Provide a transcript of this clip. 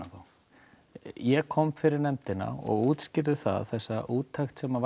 þá ég kom fyrir nefndina og útskýrði þessa úttekt sem